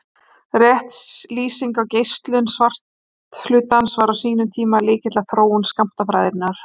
Rétt lýsing á geislun svarthluta var á sínum tíma lykill að þróun skammtafræðinnar.